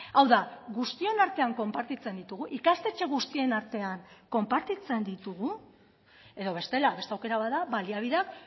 hau da guztion artean konpartitzen ditugu ikastetxe guztien artean konpartitzen ditugu edo bestela beste aukera bat da baliabideak